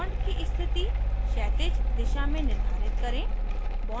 bond की स्थिति क्षैतिज दिशा में निर्धारित करें